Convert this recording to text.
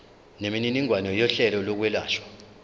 nemininingwane yohlelo lokwelashwa